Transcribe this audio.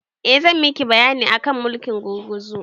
Eh zan miki bayani akan mulkin gurguzu